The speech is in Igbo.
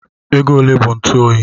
Ego ole bụ ntụ oyi?